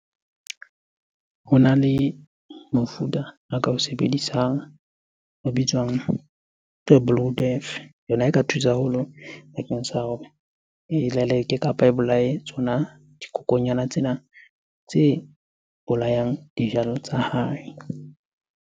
Hona le mofuta a ka o sebedisang a bitswang ke blue death. Yona e ka thusa haholo bakeng sa hore e leleke kapa e bolaye tsona dikokonyana tsena tse bolayang dijalo tsa hae.